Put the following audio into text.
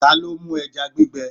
Ta ló mú ẹja gbígbẹ?